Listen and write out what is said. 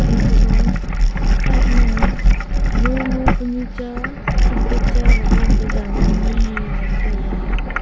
ethu ya side ma lo lo pa nu che sop pe che jon pe jan nu ngan taiga.